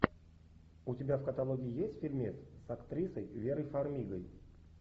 у тебя в каталоге есть фильмец с актрисой верой фармигой